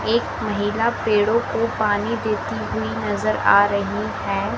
एक महिला पेड़ो को पानी देती हुई नजर आ रही है।